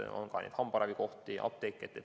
Seal on ka hambaravikohti ja apteeke.